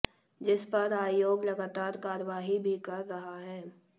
जिस पर आयोग लगातार कार्यवाही भी कर रहा है